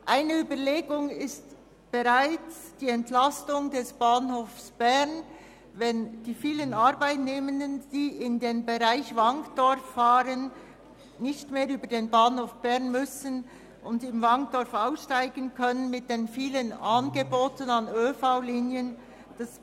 Eine Überlegung liegt bereits mit der Entlastung des Bahnhofs Bern vor, wenn die vielen Arbeitnehmenden, die in den Bereich Wankdorf fahren, nicht mehr den Umweg über den Bahnhof Bern nehmen müssen, sondern direkt im Wankdorf aussteigen können, wo ein breites Angebot an ÖV-Linien bereitsteht.